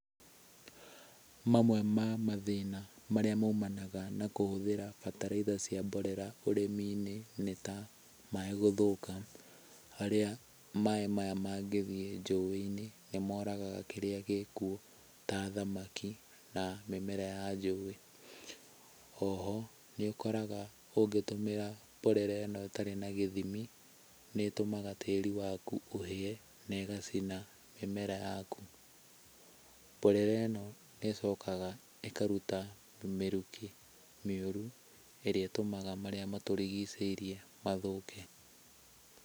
Mamwe ma mathĩna marĩa maumanaga na kũhũthĩra bararaitha cia mborera ũrĩmi-inĩ nĩ ta; maaĩ gũthũka, harĩa maaĩ maya mangĩthiĩ njũĩ-inĩ nĩ moragaga kĩrĩa gĩkuo ta thamaki na mĩmera ya njũĩ. O ho, nĩ ũkoraga ũngĩtũmĩra mborera ĩno ĩtarĩ na gĩthimi nĩ ĩtũmaga tĩĩri waku ũhĩe na ĩgacina mĩmera yaku. Mborera ĩno nĩ ĩcokaga ĩkaruta mĩrukĩ mĩũru ĩrĩa ĩtũmaga marĩa matũrigicĩirie mathũke.